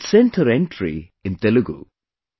She had sent her entry in Telugu